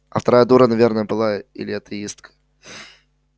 а вторая дура наверное была или атеистка